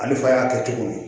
Ale fa y'a kɛ cogo don